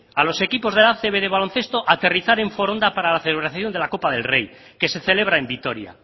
a los equipos de la acb de baloncesto aterrizar en foronda para la celebración de la copa del rey que se celebra en vitoria